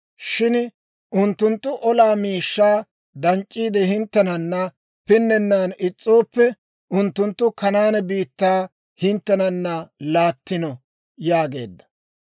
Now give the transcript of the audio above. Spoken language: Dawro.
Shin unttunttu olaa miishshaa danc'c'iide, hinttenana pinnennan is's'ooppe, unttunttu Kanaane biittaa hinttenana laattino» yaageedda.